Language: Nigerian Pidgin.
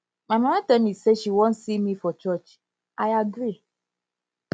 my mama tell me say she wan see me for church i agree